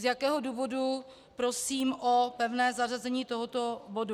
Z jakého důvodu prosím o pevné zařazení tohoto bodu.